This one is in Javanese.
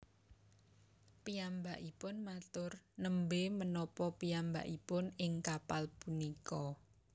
Piyambakipun matur Nembé menapa piyambakipun ing kapal punika